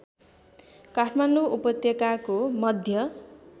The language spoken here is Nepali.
काठमाडौँ उपत्यकाको मध्य